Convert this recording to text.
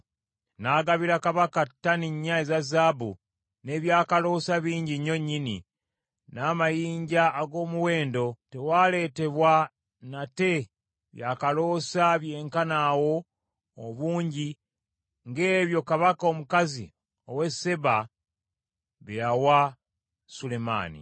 N’agabira kabaka ttani nnya eza zaabu, n’ebyakaloosa bingi nnyo nnyini, n’amayinja ag’omuwendo. Tewaaleetebwa nate byakaloosa byenkana awo obungi ng’ebyo kabaka omukazi ow’e Seeba bye yawa Sulemaani.